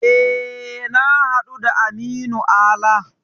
E, na haɗu da Aminu Ala.